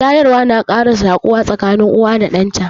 Shayarwa na ƙara shaƙuwa tsakanin uwa da ɗan ta.